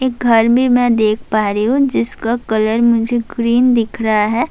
ایک گھر مے میں دیکھ پا رہی ہو، جسکا کلر مجھے گرین دیکھ رہا ہے۔